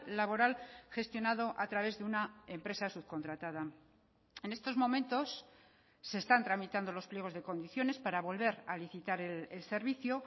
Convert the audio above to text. laboral gestionado a través de una empresa subcontratada en estos momentos se están tramitando los pliegos de condiciones para volver a licitar el servicio